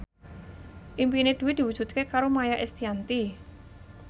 impine Dwi diwujudke karo Maia Estianty